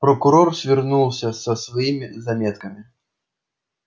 прокурор свернулся со своими заметками